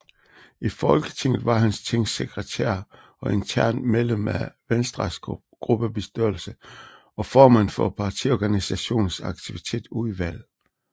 I Folketinget var han tingssekretær og internt medlem af Venstres gruppebestyrelse og formand for partiorganisationens aktivitetsudvalg